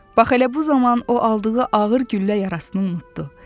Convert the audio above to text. Bax elə bu zaman o aldığı ağır güllə yarasını unutdu.